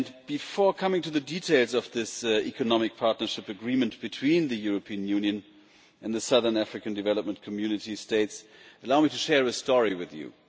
Before coming to the details of this Economic Partnership Agreement between the European Union and the Southern African Development Community States, allow me to share a story with you.